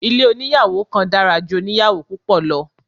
Ilé oníyàwò kan dára ju oníyàwò púpọ̀ lọ.